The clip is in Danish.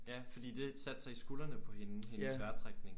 Ja fordi det satte sig i skuldrene på hende. Hendes vejrtrækning